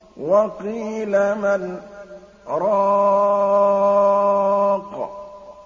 وَقِيلَ مَنْ ۜ رَاقٍ